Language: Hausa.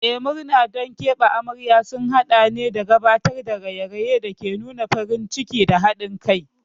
Eh, murna don keɓe amarya sun haɗa da gabatar da raye-rayen da ke nuna farin ciki da haɗin kai.